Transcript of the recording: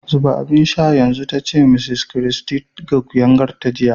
Zuba abin sha yanzu! ta ce Mrs Christy ga kuyangarta jiya.